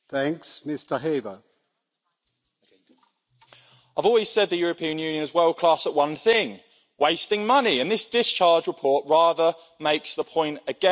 Mr President, I've always said the European Union is world class at one thing wasting money, and this discharge report rather makes the point again.